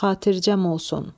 Xatircəm olsun.